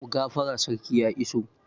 Ku gafara sarki ya iso!